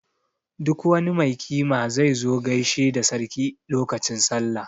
Duk wani mai kima zai zo gaishe da sarki lokacin Sallah.